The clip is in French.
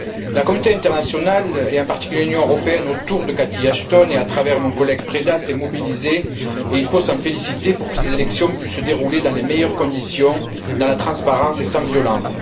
La communauté internationale, et en particulier l'Union européenne autour de Catherine Ashton et à travers mon collègue Preda, s'est mobilisée, et il faut s'en féliciter, pour que ces élections puissent se dérouler dans les meilleures conditions, dans la transparence et sans violences.